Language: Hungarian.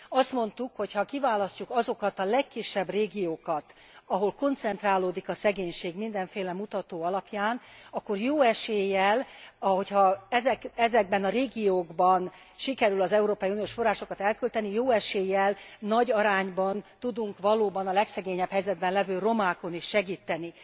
Azt mondtuk, hogy ha kiválasztjuk azokat a legkisebb régiókat, ahol koncentrálódik a szegénység mindenféle mutató alapján, akkor jó eséllyel, hogy ha ezekben a régiókban sikerül az európai uniós forrásokat elkölteni, jó eséllyel, nagy arányban tudunk valóban a legszegényebb helyzetben levő romákon is segíteni.